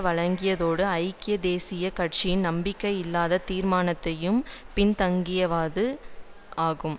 வழங்கியதோடு ஐக்கிய தேசிய கட்சியின் நம்பிக்கையில்லா தீர்மானத்தையும் பின்தள்ளியது ஜேவிபி